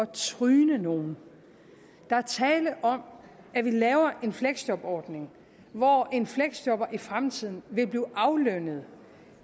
tryne nogen der er tale om at vi laver en fleksjobordning hvor en fleksjobber i fremtiden vil blive aflønnet